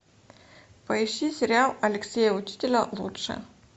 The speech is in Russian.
поищи сериал алексея учителя лучше